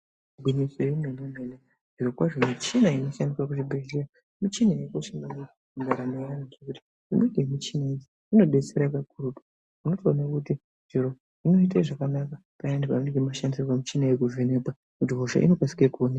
Gwinyiso yemenemene zvirokwazvo michina inoshandiwa kuzvibhedhlera michina yakakosha maningi mundaramo medu ngekuti imweni yemichina iyi inobetsera kakurutu zvinotooneke kuti zviro inoite zvakanaka zvakaita semichina yekuvhenekwa hosha inotokasire kuonekwa .